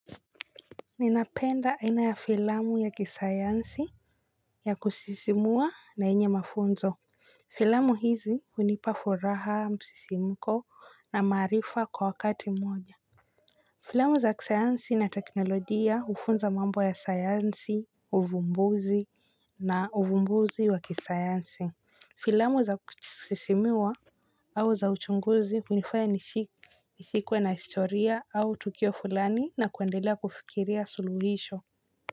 Ninapenda aina ya filamu ya kisayansi ya kusisimua na yenye mafunzo. Filamu hizi hunipa furaha msisimko na maarifa kwa wakati mmoja. Filamu za kisayansi na teknolojia hufunza mambo ya sayansi. Uvumbuzi na uvumbuzi wa kisayansi filamu za kusisimua au za uchunguzi hunifanya nishi nishikwe na historia au tukio fulani na kuendelea kufikiria suluhisho.